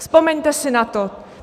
Vzpomeňte si na to.